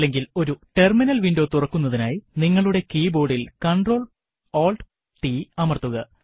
അല്ലെങ്കിൽ ഒരു terminal window തുറക്കുന്നതിനായി നിങ്ങളുടെ കീബോർഡിൽ CtrlAltt അമർത്തുക